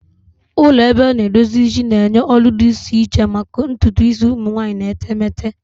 Ụlọ ebe a na-edozi isi na-enye ọrụ dị iche iche maka ntutu isi ụmụ nwanyị na etemeete.